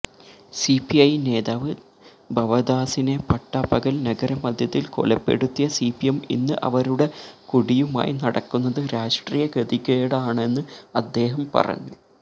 CPI നേതാവ് ഭവദാസിനെ പട്ടാപകല് നഗരമധ്യത്തില് കൊലപ്പെടുത്തിയ സിപിഎം ഇന്ന് അവരുടെ കൊടിയുമായി നടക്കുന്നത് രാഷ്ട്രീയ ഗതികേടാണെന്ന് അദ്ദേഹം പറഞ്ഞു